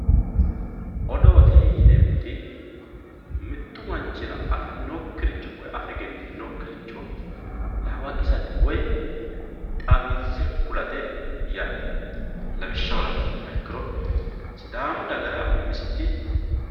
odoote yineemmoti mittu manchira afinokkiricho afe egenninokkiricho hawaqisate woy xawinse kulate yaate lawishshaho la'nummoha ikkiro sidaamu dagara umisiti